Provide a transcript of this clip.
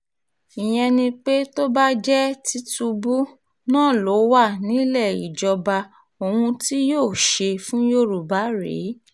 ìyẹn ni pé tó bá jẹ́ tìtúbù náà ló wà nílé ìjọba ohun tí yóò ṣe fún yorùbá rèé